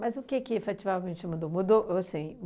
Mas o que que efetivamente mudou? Mudou, ou sim